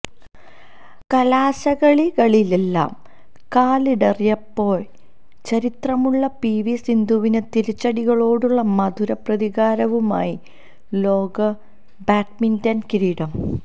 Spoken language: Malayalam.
കലാശക്കളികളിലെല്ലാം കാലിടറിപ്പോയ ചരിത്രമുള്ള പിവി സന്ധുവിന് തിരിച്ചടികളോടുള്ള മധുര പ്രതികാരവുമായി ലോക് ബാഡ്മിന്റണ് കിരീടം